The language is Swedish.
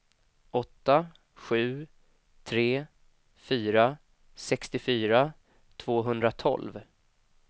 åtta sju tre fyra sextiofyra tvåhundratolv